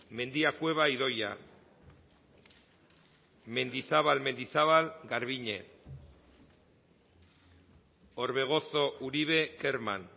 mendia cueva idoia mendizabal mendizabal garbiñe orbegozo uribe kerman